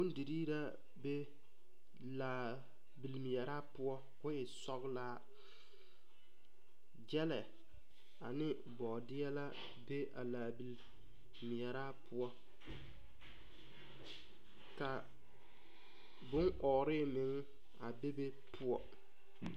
Bondirii la be laabili meɛraa poɔ ko e sɔglaa gyɛlɛ ane bɔɔdeɛ la be a laa bili meɛraa poɔ ka boŋ ɔɔre meŋ a bebe poɔ.